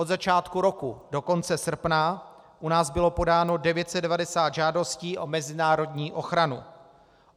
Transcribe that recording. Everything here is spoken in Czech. Od začátku roku do konce srpna u nás bylo podáno 990 žádostí o mezinárodní ochranu.